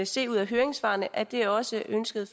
se ud af høringssvarene at det også er ønsket af